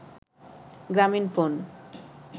Gramin phone